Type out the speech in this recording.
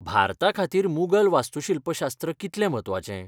भारताखातीर मुघल वास्तूशिल्पशास्त्र कितलें म्हत्वाचें?